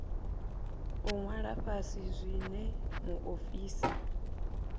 u ṅwala fhasi zwine muofisi